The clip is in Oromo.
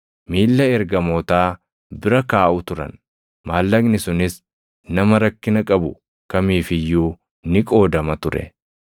miilla ergamootaa bira kaaʼu turan; maallaqni sunis nama rakkina qabu kamiif iyyuu ni qoodama ture.